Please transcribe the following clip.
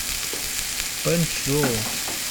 пэнчжоу